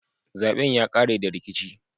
Zaben ya kare da rikici.